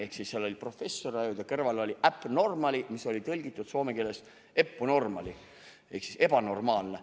Ehk siis seal filmis oli professor, kelle kõrval oli Abby Normal, mis oli tõlgitud soome keelde Eppu Normaali ehk "ebanormaalne".